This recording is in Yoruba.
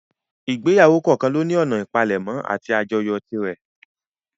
Ìgbéyàwó kọ̀ọ́kan lóní ọ̀nà ìpalẹ̀mọ́ àti àjọyọ̀ tirẹ̀.